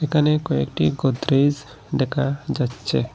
এখানে কয়েকটি গোদরেজ দেখা যাচ্ছে।